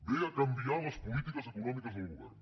ve a canviar les polítiques econòmiques del govern